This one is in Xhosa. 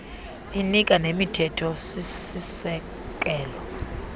inika nemithetho sisekelo